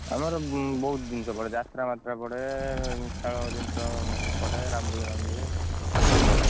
ଆମର ବହୁତ ଜିନିଷ ପଡେ ଯାତ୍ରା ମାତ୍ରା ପଡେ ଖେଳ ଜିନିଷ ପଡେ ରାମ ଦୋଳି ମାମ ଦୋଳି, ସବୁ ପଡେ।